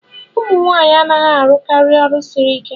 ụmụ nwanyị anaghị arụkarị ọrụ siri ike